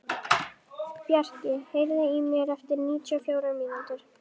Bjarki, heyrðu í mér eftir níutíu og fjórar mínútur.